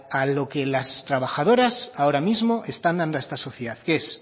a lo que las trabajadoras ahora mismo están dando a esta sociedad que es